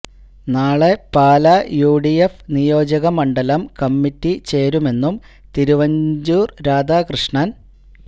നാളെ പാലാ യുഡിഎഫ് നിയോജക മണ്ഡലം കമ്മിറ്റി ചേരുമെന്നും തിരുവഞ്ചൂര് രാധാകൃഷ്ണന്